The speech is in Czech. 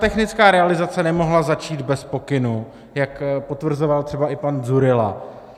Technická realizace nemohla začít bez pokynu, jak potvrzoval třeba i pan Dzurilla.